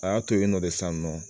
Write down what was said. A y'a to yen nɔ de sisan nɔ